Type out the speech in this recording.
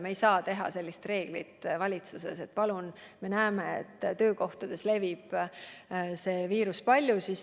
Me ei saa sellist reeglit valitsuses kehtestada, aga me näeme, et töökohtades levib viirus palju.